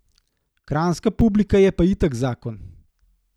Kranjska publika je pa itak zakon.